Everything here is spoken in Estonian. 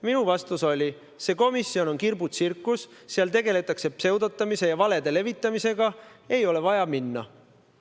Minu vastus oli, et see komisjon on kirbutsirkus, seal tegeletakse pseudotamise ja valede levitamisega, ei ole vaja minna.